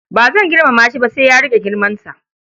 Ba zan girmama shi ba sai ya riƙe girmansa.